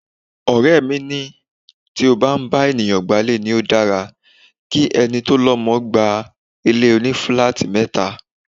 Ọ̀rẹ́ mi tí ó máa ń bá ènìyàn gba'lé ní ó dára ki ẹni tó lọmọ gba ilé òní-filáátì mẹ́ta.